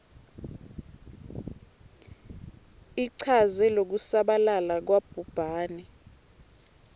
ichaze lokusabalala kwabhubhane